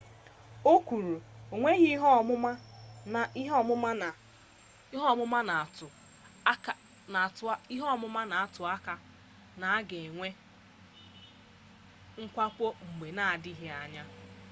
o kwuru enweghị ihe ọmụma na-atụ aka na a ga-enwe mwakpo mgbe na-adịghị anya